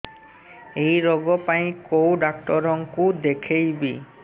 ଏଇ ରୋଗ ପାଇଁ କଉ ଡ଼ାକ୍ତର ଙ୍କୁ ଦେଖେଇବି